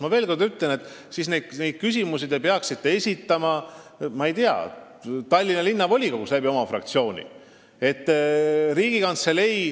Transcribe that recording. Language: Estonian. Ma veel kord ütlen, et te peaksite neid küsimusi esitama näiteks Tallinna Linnavolikogus oma fraktsiooni kaudu.